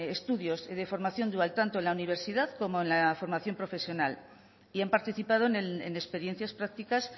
estudios de formación dual tanto en la universidad como en la formación profesional y han participado en experiencia practicas